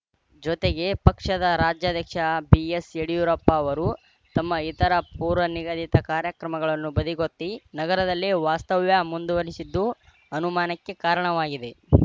ಜೊತೆಗೆ ಪಕ್ಷದ ರಾಜ್ಯಾಧ್ಯಕ್ಷ ಬಿಎಸ್‌ಯಡಿಯೂರಪ್ಪ ಅವರು ತಮ್ಮ ಇತರ ಪೂರ್ವನಿಗದಿತ ಕಾರ್ಯಕ್ರಮಗಳನ್ನು ಬದಿಗೊತ್ತಿ ನಗರದಲ್ಲೇ ವಾಸ್ತವ್ಯ ಮುಂದುವರೆಸಿದ್ದು ಅನುಮಾನಕ್ಕೆ ಕಾರಣವಾಗಿದೆ